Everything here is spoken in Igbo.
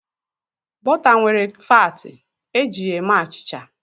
Bọta nwere faatị, e ji ya eme achịcha.